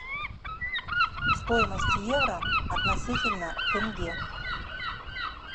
стоимость евро относительно тенге